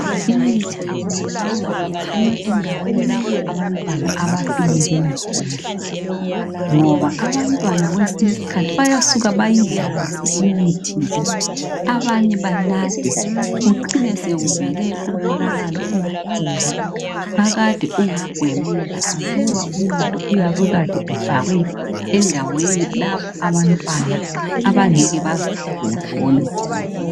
IMithi akumelelanga ingcinwe lapha abantwana abafinyelela khona ngob abantwana kwesinye isikhathi bayasuka beyidlalise imithi le abanye banathe kucine sekuvela umonakalo omkhulu akade ungagwemeka aluba umuthi uyabe ekade ufakwe lapho abantwana abangeke bazithathela khona